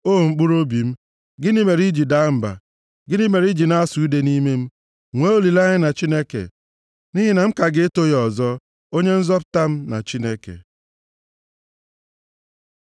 O mkpụrụobi m, gịnị mere i ji daa mba? Gịnị mere i ji na-asụ ude nʼime m? Nwee olileanya na Chineke, nʼihi na m ka ga-eto ya ọzọ, Onye nzọpụta m na Chineke m.